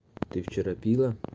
ты вчера пила